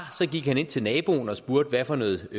gik han ind til naboen og spurgte hvad for noget